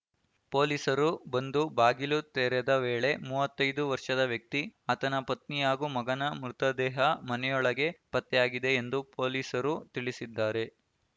ಪೊಲೀಸರು ಬಂದು ಬಾಗಿಲು ತೆರೆದ ವೇಳೆ ಮೂವತೈಯ್ದು ವರ್ಷದ ವ್ಯಕ್ತಿ ಆತನ ಪತ್ನಿ ಹಾಗೂ ಮಗನ ಮೃತದೇಹ ಮನೆಯೊಳಗೆ ಪತ್ತೆಯಾಗಿದೆ ಎಂದು ಪೊಲೀಸರು ತಿಳಿಸಿದ್ದಾರೆ